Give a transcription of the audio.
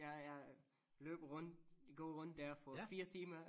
Jeg jeg løber rundt gå rundt dér for 4 timer